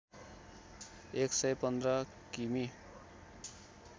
एकसय १५ किमि